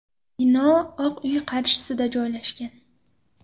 Bino Oq uy qarshisida joylashgan.